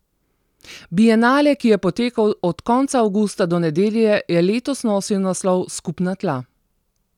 Bienale, ki je potekal od konca avgusta do nedelje, je letos nosil naslov Skupna tla.